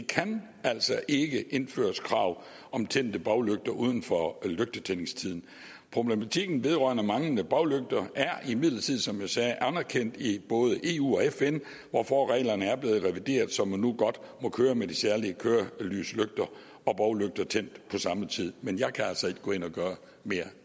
kan altså ikke indføres krav om tændte baglygter uden for lygtetændingstiden problematikken vedrørende manglende baglygter er imidlertid som jeg sagde anerkendt i både eu og fn hvorfor reglerne er blevet revideret så man nu godt må køre med de særlige kørelyslygter og baglygter tændt på samme tid men jeg kan altså ikke gå ind og gøre mere